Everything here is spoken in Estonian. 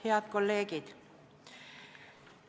Head kolleegid!